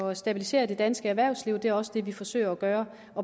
at stabilisere det danske erhvervsliv og det er også det vi forsøger at gøre